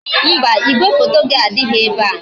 Mba, igwefoto gị adịghị ebe a